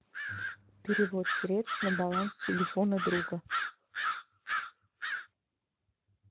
перевод средств на баланс телефона друга